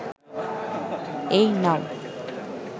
এই নাও